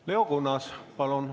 Leo Kunnas, palun!